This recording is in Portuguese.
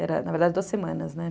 Era, na verdade, duas semanas, né?